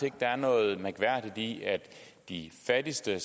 ikke der er noget mærkværdigt i at de fattigste